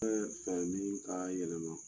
fɛn min ka yɛlɛma